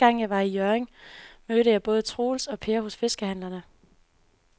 Anden gang jeg var i Hjørring, mødte jeg både Troels og Per hos fiskehandlerne.